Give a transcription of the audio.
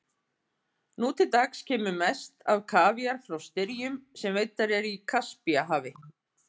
Nú til dags kemur mest af kavíar frá styrjum sem veiddar eru í Kaspíahafi.